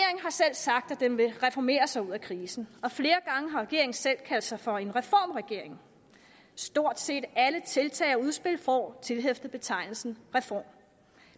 sagt at den vil reformere sig ud af krisen og flere gange har regeringen selv kaldt sig for en reformregering stort set alle tiltag og udspil får tilhæftet betegnelsen reform